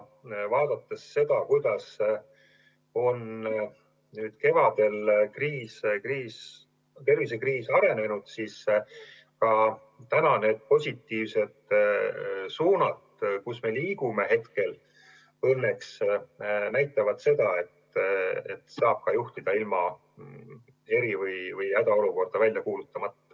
Vaadates seda, kuidas on nüüd kevadel tervisekriis arenenud, võib öelda, et praegused positiivsed suunad õnneks näitavad seda, et saab kriisi saab juhtida ka ilma eri- või hädaolukorda välja kuulutamata.